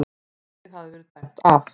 Markið hafði verið dæmt af